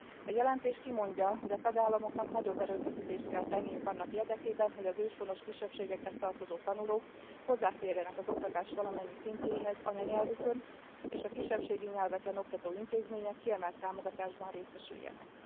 A jelentés kimondja, hogy a tagállamoknak nagyobb erőfeszítést kell tenniük annak érdekében, hogy az őshonos kisebbségekhez tartozó tanulók hozzáférjenek az oktatás valamennyi szintjéhez anyanyelvükön, és a kisebbségi nyelveken oktató intézmények kiemelt támogatásban részesüljenek.